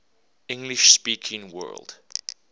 english speaking world